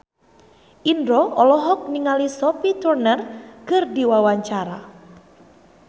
Indro olohok ningali Sophie Turner keur diwawancara